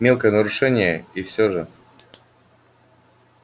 мелкое нарушение и все же